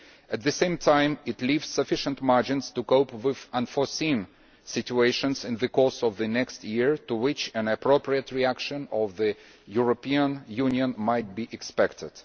At the same time it leaves sufficient margins to cope with unforeseen situations in the course of the next year to which an appropriate reaction by the European Union might be expected.